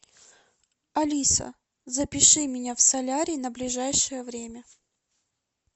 алиса запиши меня в солярий на ближайшее время